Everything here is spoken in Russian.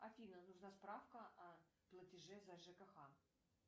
афина нужна справка о платеже за жкх